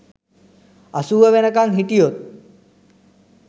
අසූව වෙනකන් හිටියොත්